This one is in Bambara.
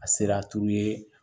A sera